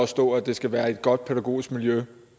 stå at det skal være et godt pædagogisk miljø